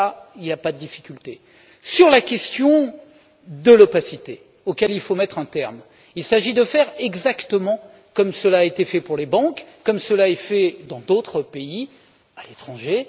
Il n'y a pas de difficulté dans ce domaine. Sur la question de l'opacité, à laquelle il faut mettre un terme, il s'agit de faire exactement comme cela a été fait pour les banques, comme cela est fait dans d'autres pays, à l'étranger.